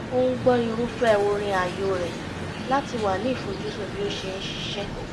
ó ń gbọ́ irúfẹ́ orin ààyò rẹ̀ láti wà ní ìfojúsùn bí ó ṣe ń ṣiṣẹ́